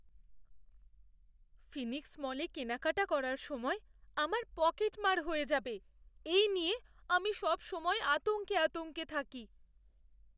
Phoenix মলে কেনাকাটা করার সময় আমার পকেটমার হয়ে যাবে এই নিয়ে আমি সবসময় আতঙ্কে আতঙ্কে থাকি!